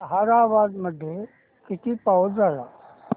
ताहराबाद मध्ये किती पाऊस झाला